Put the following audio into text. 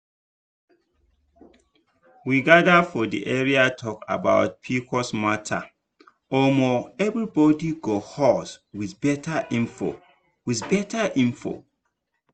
we gather for area talk about pcos matteromo everybody go huz with better info. with better info.